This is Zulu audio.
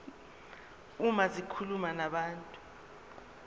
uma zikhuluma nabantu